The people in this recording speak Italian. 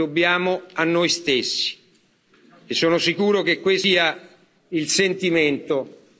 Sono sicuro che questo sia il sentimento di tutto il Parlamento. Grazie.